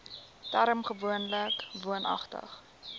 term gewoonlik woonagtig